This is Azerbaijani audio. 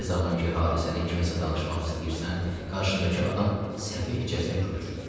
Nə zaman ki, hadisəni kimsə danışmaq istəyirsən, qarşındakı adam səfehcəsinə gülür.